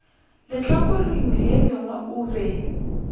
lehlakoreng le lengwe o be